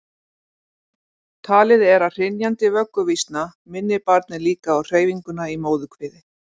talið er að hrynjandi vögguvísna minni barnið líka á hreyfinguna í móðurkviði